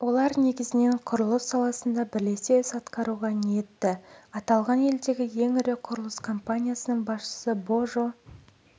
олар негізінен құрылыс саласында бірлесе іс атқаруға ниетті аталған елдегі ең ірі құрылыс компаниясының басшысы божо